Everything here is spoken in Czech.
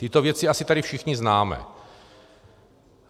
Tyto věci asi tady všichni známe.